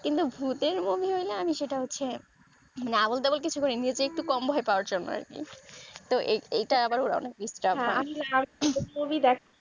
কিন্তু ভুতের movie হৈলে সেটা হচ্ছে আবোলতাবোল কিছু করি একটু কম ভয় পাওয়ার জন্য আরকি তো এই এইটা আবার অনেক